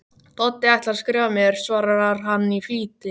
Doddi ætlaði að skrifa mér, svarar hann í flýti.